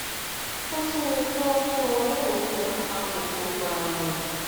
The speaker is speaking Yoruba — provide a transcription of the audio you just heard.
ó tún yẹ kí wọn fún ọ ní oògùn apakòkòrò ààrùn